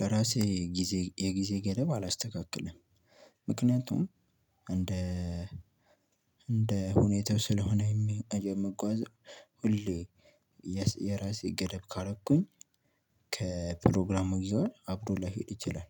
ለራሴ የጊዜ የጊዜ ገደብ አላስተካክልም ምክንያቱም እንደ እንደ ሁኔታው ስለሆነ የምጓዘው ሁሌ የራሴ ገደብ ካረኩኝ ከፕሮግራም ጋር አብሮ ላይሄድ ይችላል